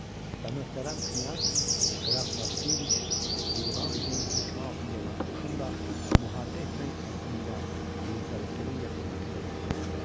Və möhtərəm knyaz Qraf Vaskeviç Yerevanskinin hökmü altında olan qoşunla müharibə etmək əzmi ilə Yelizavetpolun yaxınlığına qədər gəldi.